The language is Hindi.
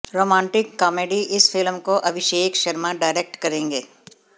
रोमांटिक कॉमेडी इस फिल्म को अभिषेक शर्मा डायरेक्ट करेंगे